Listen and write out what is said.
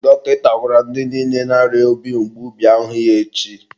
dọkịta gwara ndị niile na-arịa obi mgbu bịa hụ ya echi.